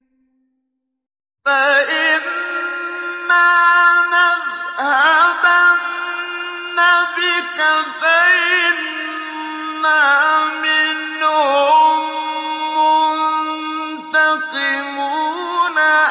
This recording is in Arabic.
فَإِمَّا نَذْهَبَنَّ بِكَ فَإِنَّا مِنْهُم مُّنتَقِمُونَ